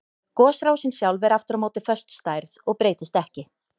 Gosrásin sjálf er aftur á móti föst stærð og breytist ekki.